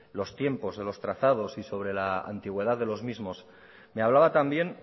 los tiempos de los trazados y sobre la antigüedad de los mismos me hablaba también